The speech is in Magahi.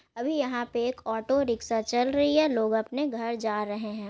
अभी यहाँ पे एक ऑटो रिक्शा चल रही है | लोग अपने घर जा रहे हैं।